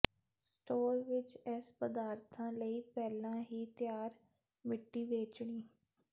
store ਵਿੱਚ ਇਸ ਪਦਾਰਥਾਂ ਲਈ ਪਹਿਲਾਂ ਹੀ ਤਿਆਰ ਮਿੱਟੀ ਵੇਚਣੀ